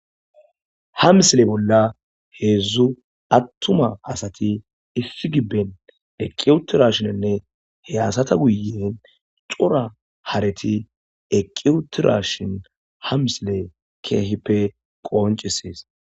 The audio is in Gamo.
ha misile bolla heedzdzu attuma asati ifi gibben eqiyutirashinenne hey asata guyen cora hareti eqiyutira shin ha misile keehippe qoncisees